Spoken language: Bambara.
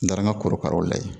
N taara n ka korokaraw lajɛ